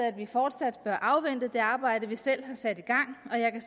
at vi fortsat bør afvente det arbejde vi selv har sat i gang og jeg kan